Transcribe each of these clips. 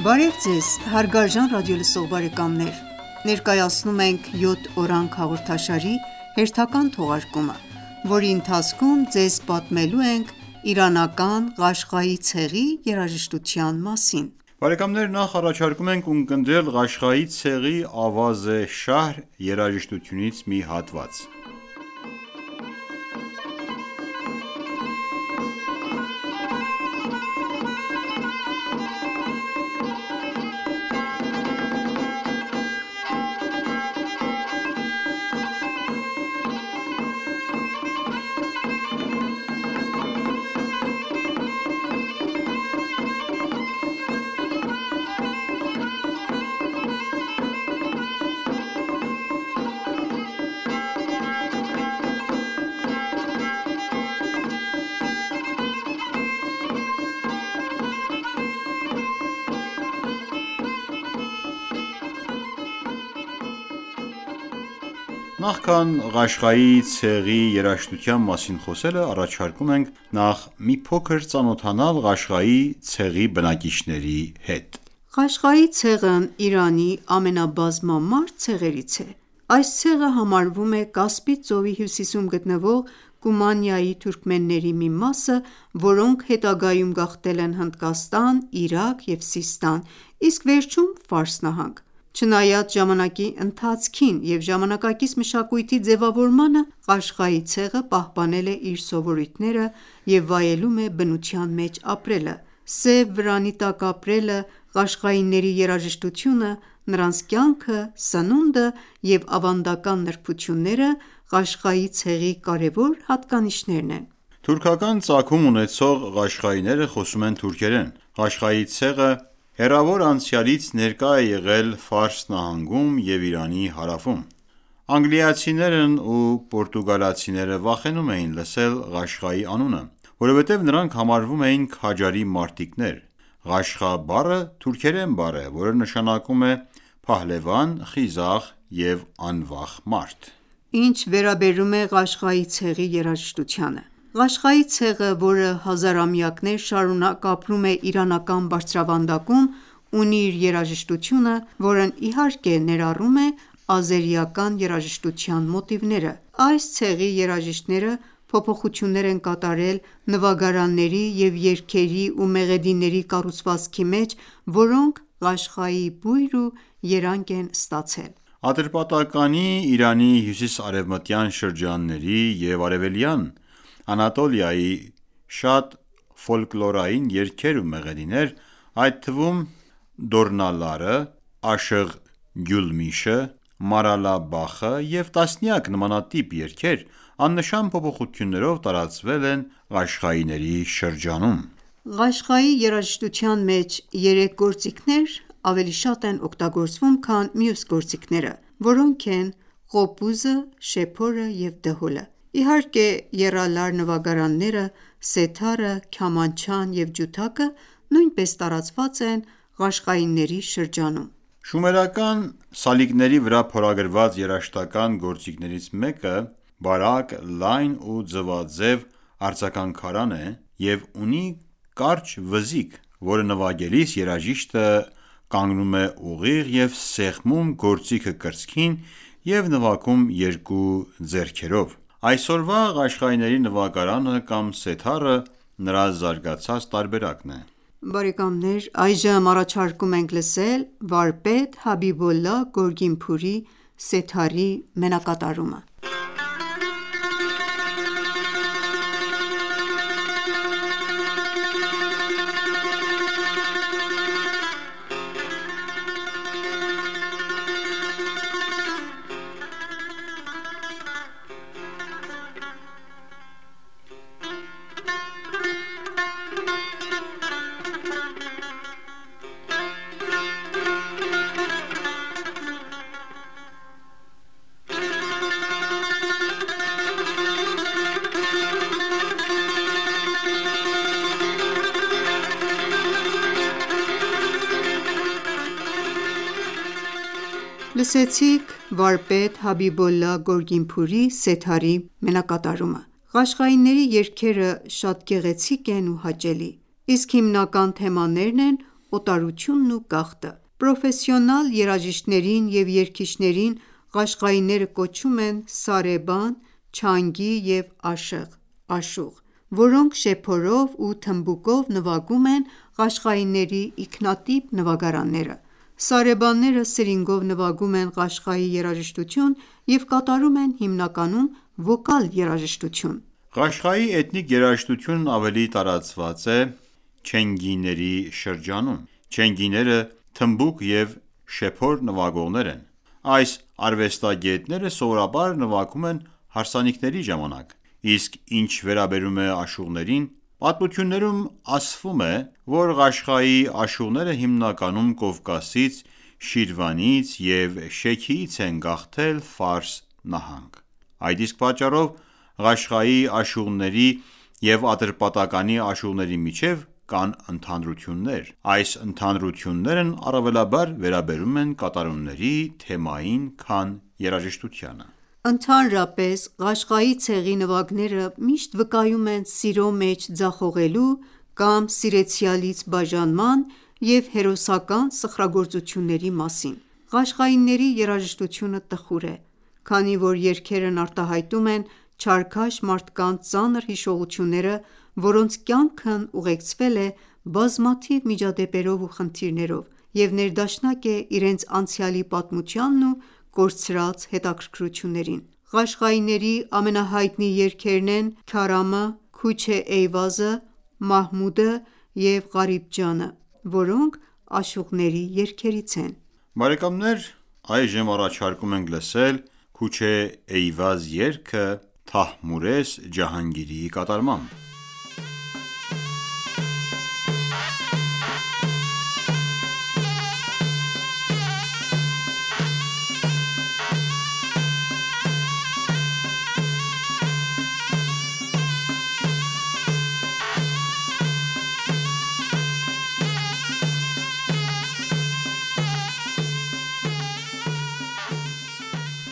Բարև Ձեզ հարգարժան ռադիոլսող բարեկամներ: Ներկայացնում ենք «Յոթ օրանգ» հաղորդաշարի հերթական թողարկումը, որի ընթացքում ձեզ պատմելու ենք Իրանական Ղաշղայի ցեղի երաժշտության մասին: Նախ առաջարկում ենք ունկնդրել Ղաշղայի ցեղի «Ավազ-ե շահր» երաժշտությունից մի հատված: Նախքան Ղաշղայի ցեղի երաժշտության մասին խոսելը, առաջարկում ենք նախ մի փոքր ծանոթանալ Ղաշղայի ցեղի բնակիչների հետ։ Ղաշղայի ցեղն Իրանի ամենաբազմամարդ ցեղերից է։ Այս ցեղը համարվում է Կասպից ծովի հյուսիսում գտնվող Կումանիայի թուրքմենների մի մասը, որոնք հետագայում գաղթել են Հնդկաստան, Իրաք և Սիստան, իսկ վերջում՝ Ֆարս նահանգ։ Չնայած ժամանակի ընթացքին և ժամանակակից մշակույթի ձևավորմանը, Ղաշղայի ցեղը պահպանել է իր սովորույթները և վայելում է բնության մեջ ապրելը: Սև վրանի տակ ապրելը, ղաշղայիների երաժշտությունը, նրանց կյանքը, սնունդը և ավանդական նրբությունները Ղաշղայի ցեղի կարևոր հատկանիշներն են: Թուրքական ծագում ունեցող ղաշղայիները խոսում են թուրքերեն։ Ղաշղայի ցեղը հեռավոր անցյալից ներկա է եղել Ֆարս նահանգում և Իրանի հարավում: Անգլիացիներն ու պորտուգալացիները վախենում էին լսել Ղաշղայի անունը; Որովհետև նրանք համարվում էին քաջարի մարտիկներ: «Ղաշղայ» բառը թուրքերեն բառ է, որը նշանակում է փահլևան, խիզախ և անվախ մարդ: Ինչ վերաբերում է Ղաշղայի ցեղի երաժշտությանը:Ղաշղայի ցեղը, որը հազարամյակներ շարունակ ապրում է Իրանական բարձրավանդակում, ունի իր երաժշտությունը, որն, իհարկե, ներառում է ազերիական երաժշտության մոտիվները։ Այս ցեղի երաժիշտները փոփոխություններ են կատարել նվագարանների և երգերի ու մեղեդիների կառուցվածքի մեջ, որոնք Ղաշղայի բույր ու երանգ են ստացել: Ատրպատականի, Իրանի հյուսիս-արևմտյան շրջանների և արևելյան Անատոլիայի շատ ֆոլկլորային երգեր ու մեղեդիներ, այդ թվում Դորնալարը, Աշըղ Գյուլմիշը, Մարալա Բախը և տասնյակ նմանատիպ երգեր աննշան փոփոխություններով տարածվել են ղաշղայինների շրջանում: Ղաշղայի երաժշտության մեջ երեք գործիքներ ավելի շատ են օգտագործվում, քան մյուս գործիքները, որոնք են Ղոպուզը, շեփորը և Դհոլը: Իհարկե, եռալար նվագարանները, սեթառը, քյամանչան և ջութակը նույնպես տարածված են ղաշղայիների շրջանում։ Շումերական սալիկների վրա փորագրված երաժշտական գործիքներից մեկը բարակ, լայն ու ձվաձեւ արձագանքարանն է և ունի կարճ վզիկ, որը նվագելիս երաժիշտը կանգնում է ուղիղ և սեղմում գործիքը կրծքին և նվագում երկու ձեռքերով։ Այսօրվա ղաշղայինների նվագարանը կամ սեթառը նրա զարգացած տարբերակն է: Այժմ առաջարկում ենք լսել վարպետ «Հաբիբոլլահ Գորգինփուրի» սեթառի մենակատարումը: Լսեցինք վարպետ Հաբիբոլլա Գորգինփուրի սեթառի մենակատարումը։ Ղաշղայինների երգերը շատ գեղեցիկ են ու հաճելի, իսկ հիմնական թեմաներն են օտարությունն ու գաղթը: Պրոֆեսիոնալ երաժիշտներին և երգիչներին ղաշղայինները կոչում են «Սարեբան», «Չանգի» և «Աշըղ », որոնք շեփորով ու թմբուկով նվագում են ղաշղայիների ինքնատիպ նվագները: Սարեբանները սրինգով նվագում են Ղաշղայի երաժշտություն և կատարում են հիմնականում «վոկալ» երաժշտություն։ Ղաշղայի էթնիկ երաժշտությունն ավելի տարածված է «Չենգիների» շրջանում։ Չենգիները թմբուկ և շեփոր նվագողներ են։ Այս արվեստագետները սովորաբար նվագում են հարսանիքների ժամանակ:Իսկ ինչ վերաբերում է աշուղներին: Պատմություններում ասվում է, որ Ղաշղայի աշուղները հիմնականում Կովկասից, Շիրվանից և Շեքիից են գաղթել Ֆարս նահանգ: Այդ իսկ պատճառով Ղաշղայի աշուղների և Ատրպատականի աշուղների միջև կան ընդհանրություններ։ Այս ընդհանրություններն առավելաբար վերաբերում են կատարումների թեմային քան երաժշտությանը: Ընդհանրապես, Ղաշղայի ցեղի նվագները միշտ վկայում են սիրո մեջ ձախողելու կամ սիրեցյալից բաժանման և հերոսական սխրագործությունների մասին: Ղաշղայիների երաժշտությունը տխուր է, քանի որ երգերն արտահայտում են չարքաշ մարդկանց ծանր հիշողությունները, որոնց կյանքն ուղեկցվել է բազմաթիվ միջադեպերով ու խնդիրներով և ներդաշնակ է իրենց անցյալի պատմությանն ու կորցրած հետաքրքրություններին։ Ղաշղայինների ամենահայտնի երգերն են «Քարամը», «Քուչ-ե Էյվազը», «Մահմուդը» և «Ղարիբ Ջանը», որոնք աշուղների երգերից են։ Այժմ առաջարկում ենք լսել «Քուչ-ե Էյվազ» երգը Թահմուրես Ջահանգիրիի կատարմամբ: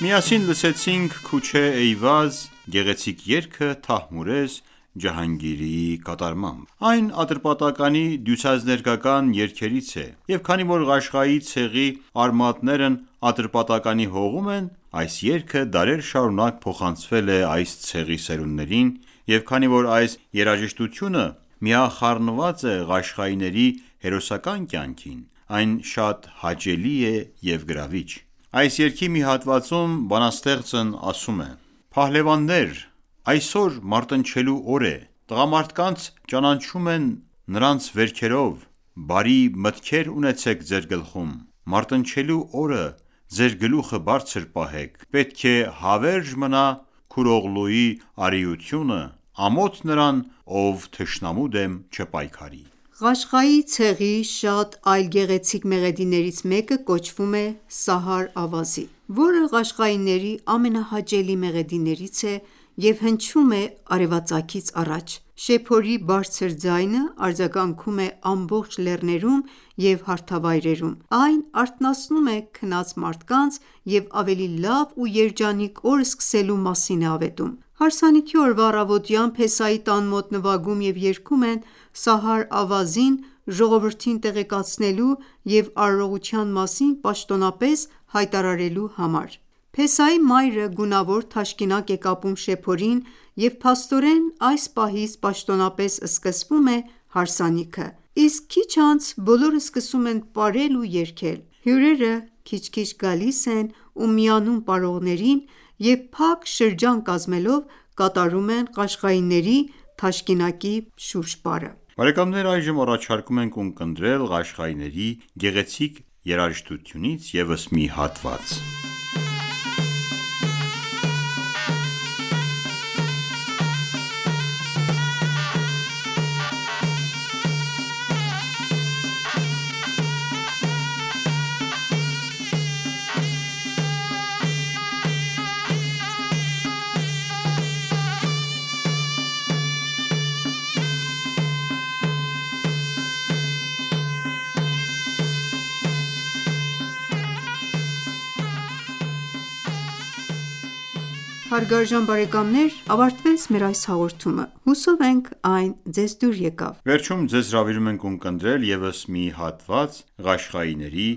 Միասին Լսեցինք «Քուչ-ե Էյվազ»-ի գեղեցիկ երգը Թահմուրես Ջահանգիրիի կատարմամբ։ Այն Ատրպատականի դյուցազներգական երգերից է, և քանի որ Ղաշղայի ցեղի արմատներն Ատրպատականի հողում են, այս երգը դարեր շարունակ փոխանցվել է այս ցեղի սերունդներին, և քանի որ այս երաժշտությունը միախառնված է ղաշղայիների հերոսական կյանքին, այն շատ հաճելի է և գրավիչ ։ Այս երգի մի հատվածում բանաստեղծն ասում է.-« Փահլևաննե՛ր այսօր մարտնչելու օր է Տղամարդկանց ճանաչում են նրանց վերքերով Բարի մտքեր ունեցեք ձեր գլխում: Մարտնչելու օրը ձեր գլուխը բարձր պահեք, Պետք է հավերժ մնա Քուրօղլուի արիությունը Ամոթ նրան ,ով թշնամու դեմ չպայքարի: Ղաշղայի ցեղիշատ այլ գեղեցիկ մեղեդիներից մեկը կոչվում է «Սահար ավազի»,որը ղաշղայինների ամենահաճելի մեղեդիներից է, և հնչում է արևածագից առաջ։ Շեփորի բարձր ձայնը արձագանքում է ամբողջ լեռներում և հարթավայրերում: Այն արթնացնում է քնկած մարդկանց և ավելի լավ ու երջանիկ օր սկսելու մասին է ավետում: Հարսանիքի օրվա առավոտյան փեսայի տան մոտ նվագում և երգում են Սահար Ավազին՝ ժողովրդին տեղեկացնելու և արարողության մասին պաշտոնապես հայտարարելու համար։ Փեսայի մայրը գունավոր թաշկինակ է կապում շեփորին, և փաստորեն, այս պահից պաշտոնապես սկսվում է հարսանիքը, իսկ քիչ անց բոլորը սկսում են պարել ու երգել։ Հյուրերը քիչ-քիչ գալիս են ու միանում պարողներին և փակ շրջան կազմելով կատարում են Ղաշղայիների «թաշկինակի շուրջպարը»։ Այժմ առաջարկում ենք ունկնդրել Ղաշղայիների գեղեցիկ երաժշտությունից ևս մի հատված: Հարգարժան բարեկամներ ավարտվեց մեր այս հաղորդումը: Հուսով ենք այն ձեզ դուր եկավ: Վերջում ձեզ հրավիրում ենք ունկնդրել ևս մի հատված Ղաշղայինների